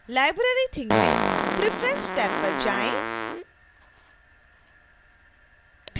library thing में preference tab पर जाएँ